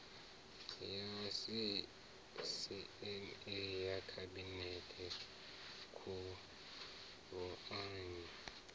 ya sisieme ya khabinete khuruanyi